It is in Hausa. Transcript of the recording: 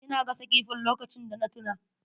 Ina gasa kifin lokacin da na tuna.